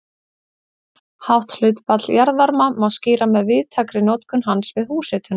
Hátt hlutfall jarðvarma má skýra með víðtækri notkun hans við húshitun.